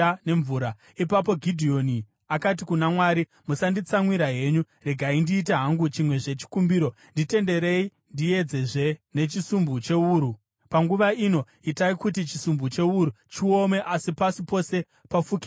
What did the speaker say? Ipapo Gidheoni akati kuna Mwari, “Musanditsamwira henyu. Regai ndiite hangu chimwezve chikumbiro. Nditenderei ndiedzezve nechisumbu chewuru. Panguva ino itai kuti chisumbu chewuru chiome asi pasi pose pafukidzwe nedova.”